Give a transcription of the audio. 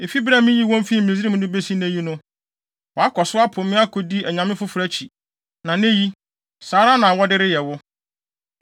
Efi bere a miyii wɔn fii Misraim no besi nnɛ yi no, wɔakɔ so apo me akodi anyame afoforo akyi; na nnɛ yi, saa ara na wɔde reyɛ wo.